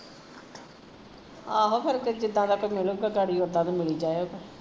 ਆਹੋ ਫਿਰ ਅੱਗੇ ਜਿੱਦਾ ਦਾ ਕੋਈ ਮਿਲੂਗਾ ਗਾਡੀ ਓਦਾ ਦੇ ਮਿਲੀ ਜਾਇਓ